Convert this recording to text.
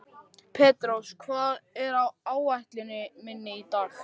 Petrós, hvað er á áætluninni minni í dag?